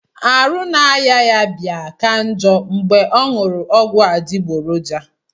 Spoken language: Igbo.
Arụ na aya ya bia ka njo ngbe onyuru ogwu adigboroja.